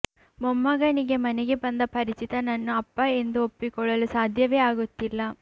ಮೊಮ್ಮಗನಿಗೆ ಮನೆಗೆ ಬಂದ ಪರಿಚಿತನನ್ನು ಅಪ್ಪ ಎಂದು ಒಪ್ಪಿಕೊಳ್ಳಲು ಸಾಧ್ಯವೇ ಆಗುತ್ತಿಲ್ಲ